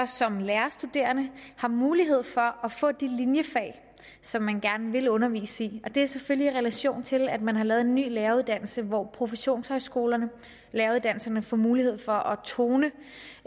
som lærerstuderende har mulighed for at få de linjefag som man gerne vil undervise i det er selvfølgelig i relation til at man har lavet en ny læreruddannelse hvor professionshøjskolerne læreruddannelserne får mulighed for at tone